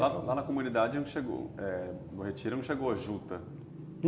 Lá na na comunidade não chegou, no retiro não chegou a juta?